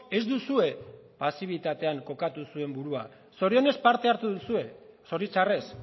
ez duzue pasibitatean kokatu zuen burua zorionez parte hartu duzue zoritxarrez